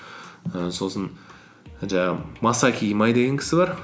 і сосын жаңағы масаки имай деген кісі бар